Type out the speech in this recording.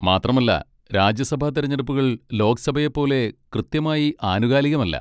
മാത്രമല്ല, രാജ്യസഭാ തെരഞ്ഞെടുപ്പുകൾ ലോക്സഭയെപ്പോലെ കൃത്യമായി ആനുകാലികമല്ല.